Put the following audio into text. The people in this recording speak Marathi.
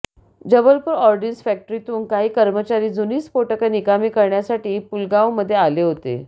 जबलपूर ऑर्डिन्स फॅक्टरीतून काही कर्मचारी जुनी स्फोटकं निकामी करण्यासाठी पूलगावमध्ये आले होते